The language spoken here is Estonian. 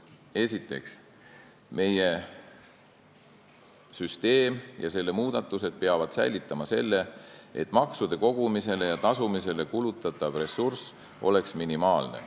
Esiteks, meie süsteem ja selle muudatused peavad säilitama selle, et maksude kogumisele ja tasumisele kulutatav ressurss oleks minimaalne.